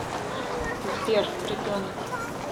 сбер ребенок